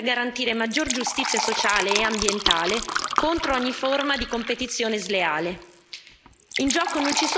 Dobbiamo far fronte comune per garantire maggiore giustizia sociale e ambientale contro ogni forma di competizione sleale.